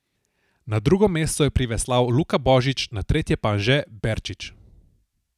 Na drugo mesto je priveslal Luka Božič, na tretje pa Anže Berčič.